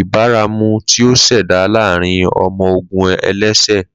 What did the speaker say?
ibaramu ti o ṣẹda laarin ọmọ-ogun ẹlẹsẹ.